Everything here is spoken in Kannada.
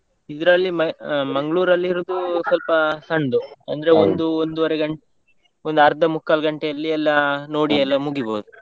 ಇದ್ರಲ್ಲಿ ಮೈ Mangalore ಲ್ಲಿ ಇರುದ್ ಸ್ವಲ್ಪ ಸಣ್ದು, ಅಂದ್ರೆ ಒಂದೂವರೆ ಗಂ~ ಒಂದ್ ಆರ್ದ ಮುಕ್ಕಲ್ ಗಂಟೆಯಲ್ಲಿ ಎಲ್ಲಾ ನೋಡಿ ಎಲ್ಲ ಮುಗಿಬೋದು.